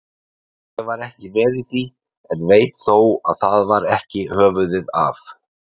Ég var ekki með í því, en veit þó að það var ekki höfuðið af